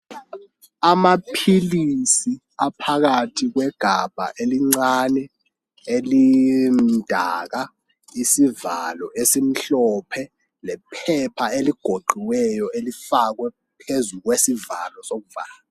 Amaphilisi aphakathi kwegabha elincane. Elimdaka, isivalo esimhlophe. Lephepha eligoqiweyo. Elifakwe phezu kwesivalo sokuvala.